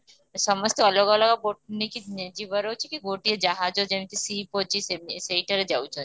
ସମସ୍ତେ ଅଲଗା ଅଲଗା boat ନେଇକି ଯିବାର ଅଛିକି ଗୋଟିଏ ଯାହାଜ ଯେମିତି ship ଅଛି ସେଇଥିରେ ଯାଉଛନ୍ତି